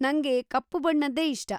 ನಂಗೆ ಕಪ್ಪು ಬಣ್ಣದ್ದೇ ಇಷ್ಟ.